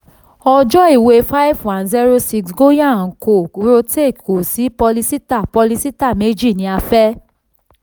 ọjọ́ iwé 5106 goyal & co rohtak ko sí pólísítà pólísítà méjì ni a fẹ.